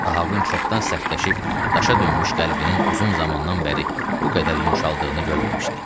Ahavın çoxdan sərtləşib daşa dönmüş qəlbinin uzun zamandan bəri bu qədər yumşaldığını görməmişdi.